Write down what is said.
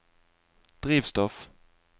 drivstoff